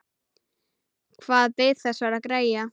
Hvað beið þessara greyja?